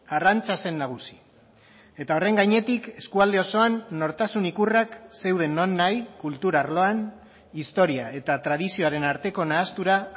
arrantza zen nagusi eta horren gainetik eskualde osoan nortasun ikurrak zeuden non nahi kultur arloan historia eta tradizioaren arteko nahastura